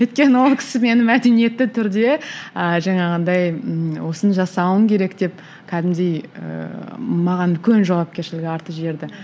өйткені ол кісі мені мәдениетті түрде ы жаңағындай ыыы осыны жасауың керек деп кәдімгідей ііі маған үлкен жауапкершілік артып жіберді